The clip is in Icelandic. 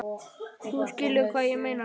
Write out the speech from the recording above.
Þú skilur hvað ég meina.